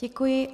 Děkuji.